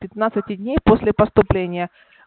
пятнадцати дней после поступления